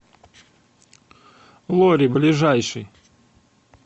лори ближайший